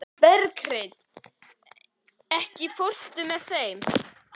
Berghreinn, ekki fórstu með þeim?